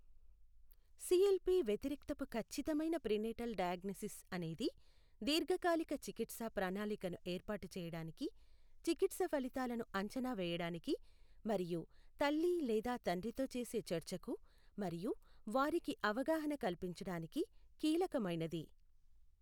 CLP వ్యతిరిక్తపు ఖచ్చితమైన prenatal diagnosis అనేది దీర్ఘకాలిక చికిత్స ప్రణాళికను ఏర్పాటు చేయడానికి, చికిత్స ఫలితాలను అంచనా వేయడానికి మరియు తల్లి లేదా తండ్రితో చేసే చర్చకు మరియు వారికి అవగాహన కల్పించడానికి కీలకమైనది.